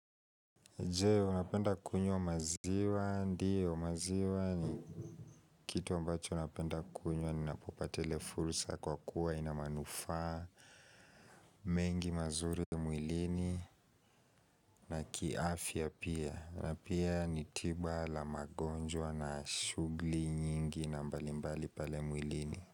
Je unapenda kunywa maziwa ndiyo maziwa ni kitu ambacho ninapenda kunywa ni napopata ile fursa kwa kuwa ina manufaa mengi mazuri mwilini na kiafya pia na pia nitiba la magonjwa na shughuli nyingi na mbali mbali pale mwilini.